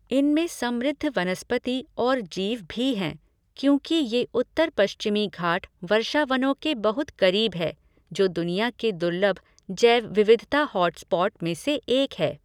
इनमे समृद्ध वनस्पति और जीव भी हैं क्योंकि ये उत्तर पश्चिमी घाट वर्षावनों के बहुत करीब है, जो दुनिया के दुर्लभ जैव विविधता हॉटस्पॉट में से एक है।